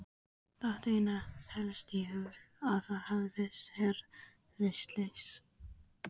Datt einna helst í hug að það hefði orðið slys.